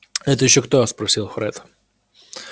это ещё кто спросил фред